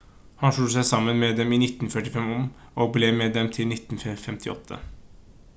han slo seg sammen med dem i 1945 og ble med dem til 1958